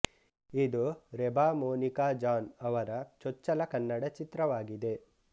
ಇದು ರೆಬಾ ಮೋನಿಕಾ ಜಾನ್ ಅವರ ಚೊಚ್ಚಲ ಕನ್ನಡ ಚಿತ್ರವಾಗಿದೆ